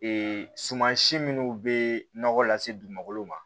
Ee suma si minnu bɛ nɔgɔ lase dugukolo ma